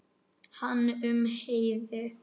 Hann um Heiði.